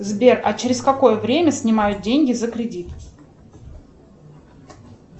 сбер а через какое время снимают деньги за кредит